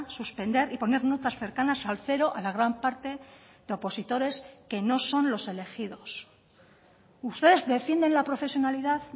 suspender y poner notas cercanas al cero a la gran parte de opositores que no son los elegidos ustedes defienden la profesionalidad